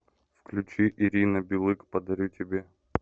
включи ирина билык подарю тебе